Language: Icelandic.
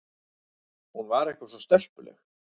Hún var eitthvað svo stelpuleg.